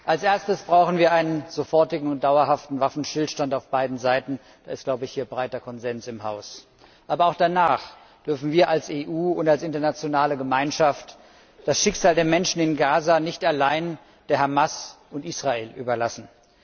Als Erstes brauchen wir einen sofortigen und dauerhaften Waffenstillstand auf beiden Seiten. Darüber besteht hier im Haus breiter Konsens. Aber auch danach dürfen wir als EU und als internationale Gemeinschaft das Schicksal der Menschen in Gaza nicht allein Hamas und Israel überlassen.